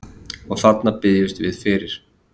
Og þarna biðjumst við fyrir